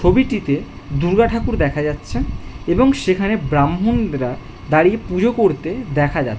ছবিটিতে দুর্গা ঠাকুর দেখা যাচ্ছেন এবং সেখানে ব্রাহ্মণরা দাঁড়িয়ে পূজা করতে দেখা যা --